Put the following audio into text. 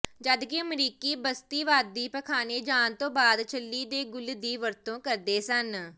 ਜਦਕਿ ਅਮਰੀਕੀ ਬਸਤੀਵਾਦੀ ਪਖਾਨੇ ਜਾਣ ਤੋਂ ਬਾਅਦ ਛੱਲੀ ਦੇ ਗੁੱਲ ਦੀ ਵਰਤੋਂ ਕਰਦੇ ਸਨ